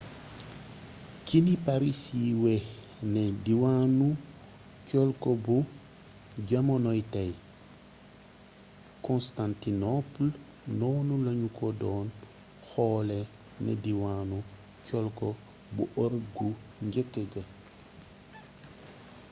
ci ni paris siiwee ne diwaanu colko bu jamonoy tey constantinople noonu lanu ko doon xoolee ne diwaanu colko bu ërop gu njëkk ga